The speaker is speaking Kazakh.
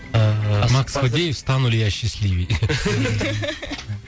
ыыы макс надеюсь стану ли я счастливей